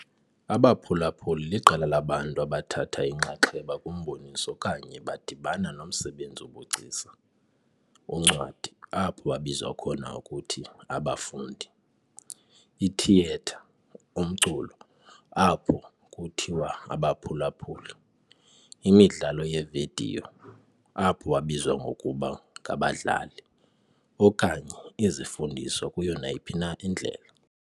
Abaphulaphuli liqela labantu abathatha inxaxheba kumboniso okanye badibana nomsebenzi wobugcisa, uncwadi, apho babizwa khona ngokuthi "abafundi", ithiyetha, umculo, apho kuthiwa "abaphulaphuli", imidlalo yevidiyo, apho babizwa ngokuba "ngabadlali", okanye izifundiswa kuyo nayiphi na indlela.